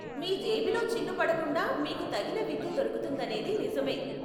మీ జేబులో చిల్లు పడకుండా మీకు తగిన విద్య దొరుకుతుందనేది నిజమే.